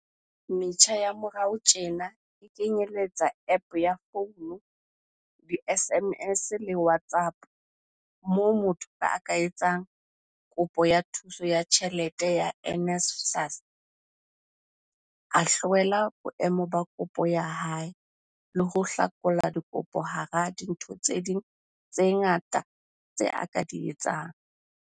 Metjha ya morao tjena e kenyeletsa App ya founu, di-SMS le WhatsApp, moo motho a ka etsang kopo ya thuso ya tjhelete ya NSFAS, a hlwela boemo ba kopo ya hae le ho hlakola dikopo hara dintho tse ding tse ngata tse a ka di etsang.